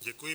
Děkuji.